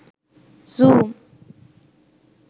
zoom